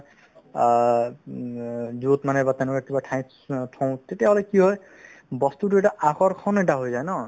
আ উম অ য'ত মানে বা তেনেকুৱা কিবা ঠাইত থও তেতিয়াহ'লে কি হয় বস্তুতো এটা আকৰ্ষণ এটা হৈ যায় ন